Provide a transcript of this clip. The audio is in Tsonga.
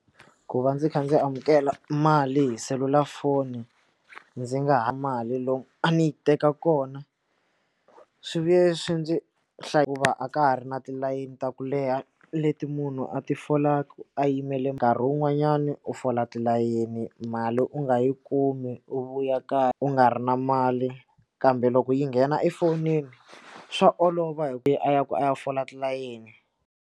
Ku va ndzi kha ndzi amukela mali hi selulafoni ndzi nga ha mali lomu a ni yi teka kona swi vuye swi ndzi hlaya ku va a ka ha ri na tilayini ta ku leha leti munhu a ti folaka a yimele nkarhi wun'wanyani u fola tilayeni mali u nga yi kumi u vuya kaya u nga ri na mali kambe loko yi nghena efonini swa olova hi ku ya a ya ku a ya fola tilayeni.